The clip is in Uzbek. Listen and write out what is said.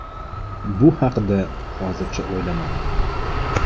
Bu haqida hozircha o‘ylamadim.